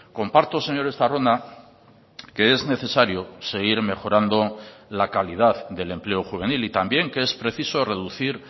comparto señor estarrona que es necesario seguir mejorando la calidad del empleo juvenil y también que es preciso reducir